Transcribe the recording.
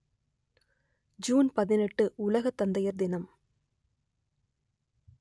June பதினெட்டு உலக தந்தையர் தினம்